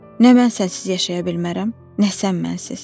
Nə mən sənsiz yaşaya bilmərəm, nə sən mənsiz.